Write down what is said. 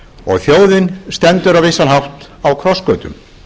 og þjóðin stendur á vissan hátt í krossgötum